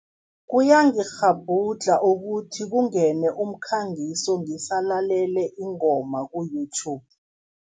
Kuyangikghabhudlha ukuthi kungene umkhangiso ngisalalele ingoma ku-YouTube.